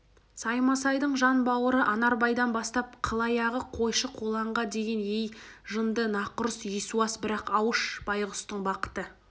саймасайдың жан бауыры анарбайдан бастап қылаяғы қойшы-қолаңға дейін ей жынды нақұрыс есуас бірақ ауыш байғұстың бақыты